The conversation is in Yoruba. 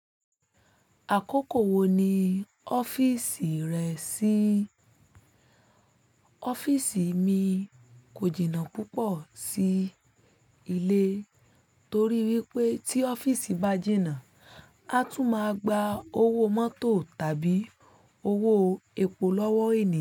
Àkókò wo ni ọ́fíìsì rẹ ṣí? Ọ́fíìsì mi kò jìnnà púpọ̀ sí ilé torí pé tí ọ́fíìsì bá jìnnà, a tún máa gba owó mọ́tò tàbí owó epo lọ́wọ́ ènìyàn.